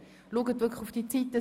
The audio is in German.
Bitte beachten Sie die Zeiten.